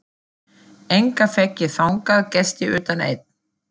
Enga fékk ég þangað gesti utan einn.